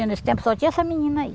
Nesse tempo só tinha essa menina aí.